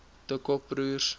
de kock broers